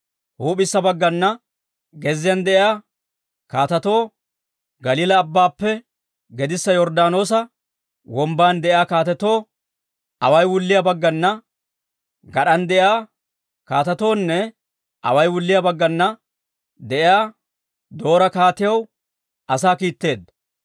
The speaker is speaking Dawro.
huup'issa baggana gezziyaan de'iyaa kaatetoo, Galiilaa Abbaappe gedissa Yorddaanoosa Wombban de'iyaa kaatetoo, away wulliyaa baggana gad'an de'iyaa kaatetoonne away wulliyaa baggana de'iyaa Doora kaatiyaw asaa kiitteedda.